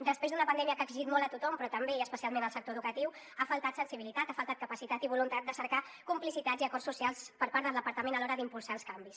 després d’una pandèmia que ha exigit molt a tothom però també i especialment al sector educatiu ha faltat sensibilitat ha faltat capacitat i voluntat de cercar complicitats i acords socials per part del departament a l’hora d’impulsar els canvis